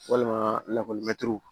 Walima lakɔlimɛtiriw